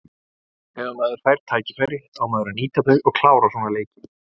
Þegar maður fær tækifæri á maður að nýta þau og klára svona leiki.